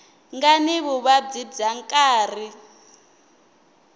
nga ni vuvabyi bya nkarhi